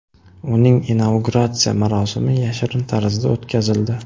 Uning inauguratsiya marosimi yashirin tarzda o‘tkazildi.